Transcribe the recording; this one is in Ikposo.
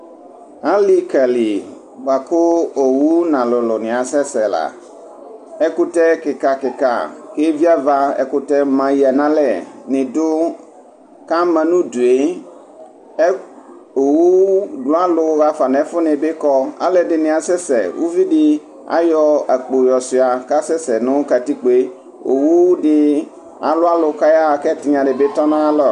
Alikali bʋakʋ owʋ nʋ alʋlʋ ni asɛsɛla ɛkʋtɛ kika kika viava ɛkʋtɛ laya nʋ alɛ ni dʋ kʋ ama nʋ ʋdʋe owʋ lualʋ xafa nʋ ɛfʋ nibi kɔ alʋɛdini asɛsɛ ʋvudi ayɔ akpo yɔ suia kʋ asɛsɛ nʋ katikpoe owʋ di alʋ alʋ kʋ ayaxa kʋ ɛtinya dibi tɔnʋ ayʋ alɔ